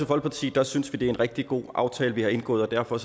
folkeparti synes vi det er en rigtig god aftale vi har indgået og derfor